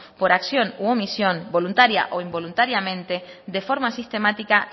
por acción u omisión voluntaria o involuntariamente de forma sistemática